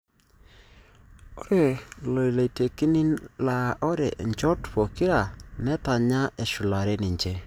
Ore loitekini laa ore nchot pokira netanya eshulare ninche.